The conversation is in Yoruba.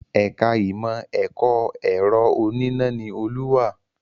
Ẹ̀ka Ìmọ̀ ẹ̀kọ́ ẹ̀rọ oníná ni Olú wà